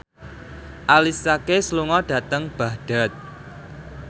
Alicia Keys lunga dhateng Baghdad